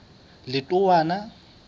letowana